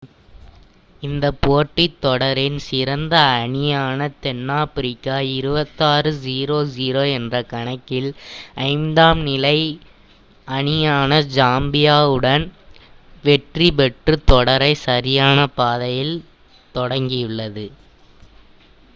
இந்த போட்டி தொடரின் சிறந்த அணியான தென்னாப்பிரிக்கா 26 - 00 என்ற கணக்கில் 5ம் நிலை அணியான சாம்பியாவுடன் வெற்றி பெற்று தொடரை சரியான பாதையில் தொடங்கியுள்ளது